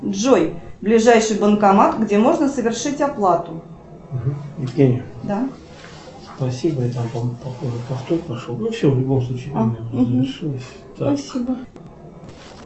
джой ближайший банкомат где можно совершить оплату